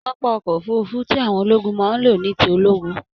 Pápá ọkọ òfurùnfu tí àwọn ológun máa n ló ní ti ológun.